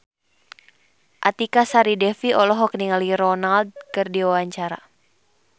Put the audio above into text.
Artika Sari Devi olohok ningali Ronaldo keur diwawancara